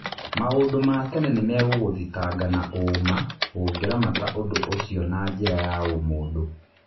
" Maũndũ ma tene nĩ megũgũthitanga na ũũma ũngĩramata ũndũ ũcio na njĩra ya ũmũndũ.